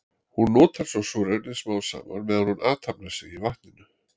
Hún notar svo súrefnið smám saman meðan hún athafnar sig í vatninu.